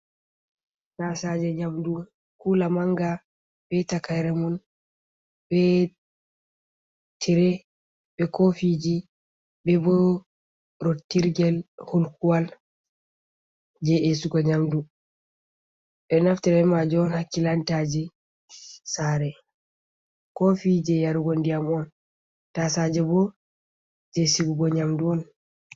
Taasaaje nyamdu, kuula manga be takaire mun, be tire, be kofiji, be bo rottirgel hulkuwal je esugo nyamdu. Ɓe ɗo naftirta be maajum on ha kilantaji saare, kofi je yarugo ndiyam on, taasaaje bo je sigugo nyamdu on.